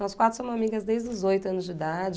Nós quatro somos amigas desde os oito anos de idade.